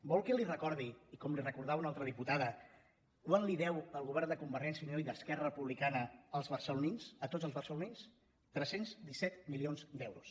vol que li recordi com li recordava una altra diputada quant els deu el govern de convergència i unió i d’esquerra republicana a tots els barcelonins tres·cents disset milions d’euros